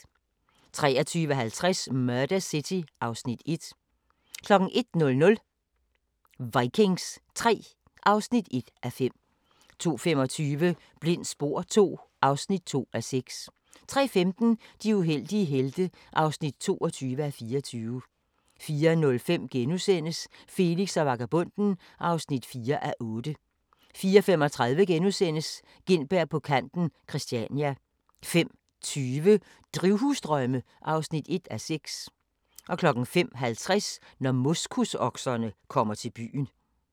23:50: Murder City (Afs. 1) 01:00: Vikings III (1:5) 02:25: Blindt spor II (2:6) 03:15: De uheldige helte (22:24) 04:05: Felix og vagabonden (4:8)* 04:35: Gintberg på kanten - Christania * 05:20: Drivhusdrømme (1:6) 05:50: Når moskusokserne kommer til byen